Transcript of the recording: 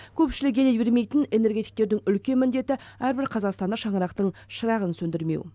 көпшілік елей бермейтін энергетиктердің үлкен міндеті әрбір қазақстанда шаңырақтың шырағын сөндірмеу